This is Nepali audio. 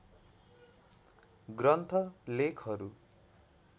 ग्रन्थ लेखहरू